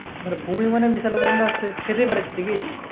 মানে বমি মানে খেতে পারিস নি কি